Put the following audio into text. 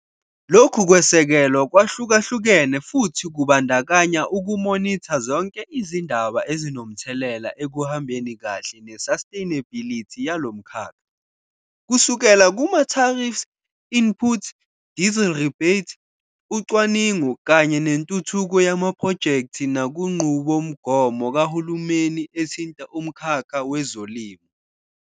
Lokhu kwesekelwa kwahlukahlukene futhi kubandakanya ukumomnitha zonke izindaba ezinomthelela ekuhambeni kahle ne-sustainability yalo mkhakha - kusukela kuma-tariffs, inputs, diesel rebates, ucwaningo kanye nentuthuko yamaphrojekthi nakunqubomgomo kahulumeni ethinta umkhakha wezolimo.